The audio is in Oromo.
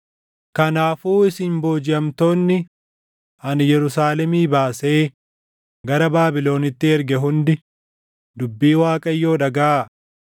Kanaafuu isin boojiʼamtoonni ani Yerusaalemii baasee gara Baabilonitti erge hundi dubbii Waaqayyoo dhagaʼaa.